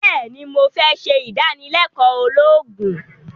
béèni mo fé se ìdánilékòó ológun